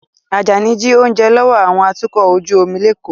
Ajani jí oúnjẹ lọ́wọ́ àwọn atukọ̀ ojú omi l'Eko